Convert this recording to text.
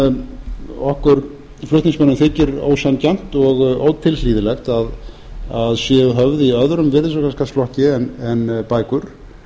sem okkur flutningsmönnum þykir ósanngjarnt og ótilhlýðilegt að séu höfð í öðrum virðisaukaskattsflokki en bækur